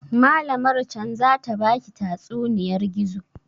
Malamar can zata baki tatsuniyar gizo?